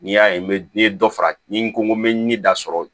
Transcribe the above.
N'i y'a ye n bɛ n ye dɔ fara n ko n ko n bɛ ni da sɔrɔ